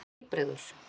Þú ert heilbrigður.